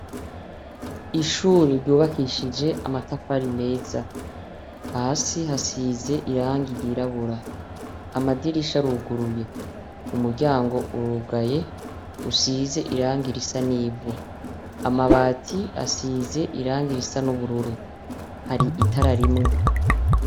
Ishure ryubakishije amatafari meza, hasi hasize irangi ryirabura, amadirisha arugururye, umuryango urugaye usize irangi risa n'ivu, amabati asize irangi risa n'ubururu, hari itara rimwe.